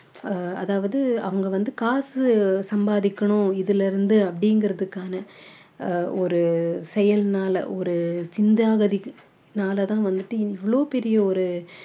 ஆஹ் அதாவது அவங்க வந்து காசு சம்பாதிக்கணும் இதுல இருந்து அப்படிங்கறதுக்கான ஆஹ் ஒரு செயல்னால ஒரு நாளாதான் வந்துட்டு இவ்வளவு பெரிய ஒரு